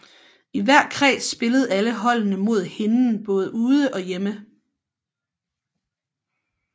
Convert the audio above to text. I hver kreds spillede alle holdene mod hinden både ude og hjemme